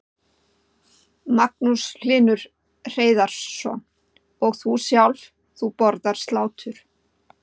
Magnús Hlynur Hreiðarsson: Og þú sjálf, þú borðar slátur?